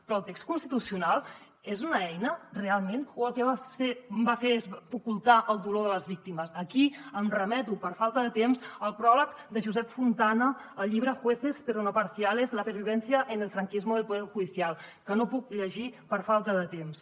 però el text constitucional és una eina realment o el que va fer és ocultar el dolor de les víctimes aquí em remeto per falta de temps al pròleg de josep fontana al llibre jueces pero parciales la pervivencia del franquismo en el poder judicial que no puc llegir per falta de temps